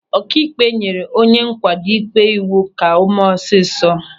Ọkaikpe nyere onye nkwado ịkpe iwu ka o mee ọsịsọ.